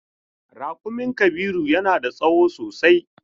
Rakumin Kabiru yana da tsawo sosai.